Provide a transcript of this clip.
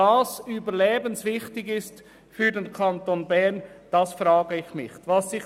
Ich frage mich schon, ob dies für den Kanton Bern überlebenswichtig ist.